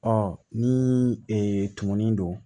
Ɔ ni e tununnen don